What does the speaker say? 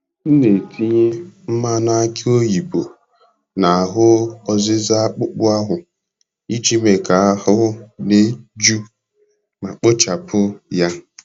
M na-etinye mmanụ aki oyibo n'ahụ ọzịza akpụkpọ ahụ iji mee ka ahụ dị jụụ ma kpochapụ ya.